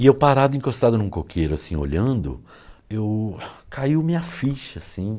E eu parado, encostado em um coqueiro, assim, olhando, eu... caiu minha ficha, assim.